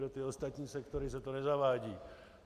Pro ty ostatní sektory se to nezavádí.